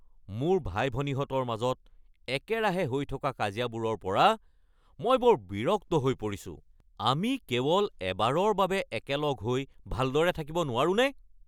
মোৰ ভাই-ভনীহঁতৰ মাজত একেৰাহে হৈ থকা কাজিয়াবোৰৰ পৰা মই বৰ বিৰক্ত হৈ পৰিছোঁ। আমি কেৱল এবাৰৰ বাবে একেলগ হৈ ভালদৰে থাকিব নোৱাৰোঁনে?